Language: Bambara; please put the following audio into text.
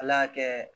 Ala y'a kɛ